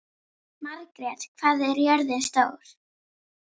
Margrjet, hvað er jörðin stór?